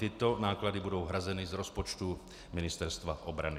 Tyto náklady budou hrazeny z rozpočtu Ministerstva obrany.